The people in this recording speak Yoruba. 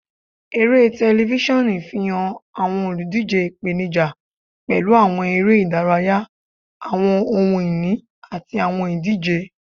Ere tẹlifisiọnu fihan awọn oludije ipenija pẹlu awọn ere-idaraya, awọn ohun-ini, ati awọn idije.